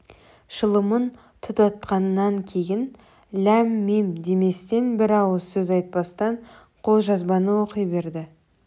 шылымын тұтатқаннан кейін ләм-мим деместен бір ауыз сөз айтпастан қолжазбаны оқи берді